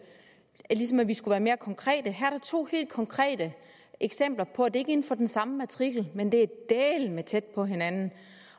ligesom at vi skulle være mere konkrete her er der to helt konkrete eksempler på at det ikke er inden for den samme matrikel men det er dæleme tæt på hinanden